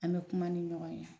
An be kuma ni ɲɔgɔn ye